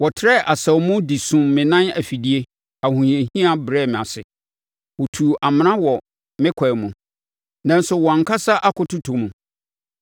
Wɔtrɛɛ asau mu de sum me nan afidie, ahohiahia brɛɛ me ase. Wɔtuu amena wɔ me kwan mu, nanso wɔn ankasa akɔtotɔ mu.